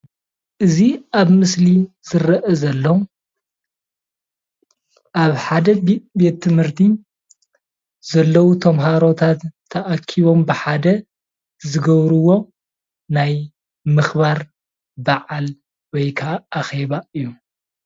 እዚ ምስሊ እኩባት ተማሃሮ ኣብ ትምህርቲ ቤት እዩ።